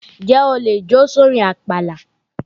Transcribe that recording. N jẹ́ o lè jó sórin àpàlà?